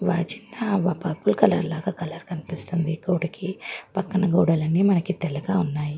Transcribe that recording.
వా చిన్న purple colour లాగా కలర్ కనిపిస్తుంది ఈ గోడకి పక్కన గోడలన్నీ మనకి తెల్లగా ఉన్నాయి.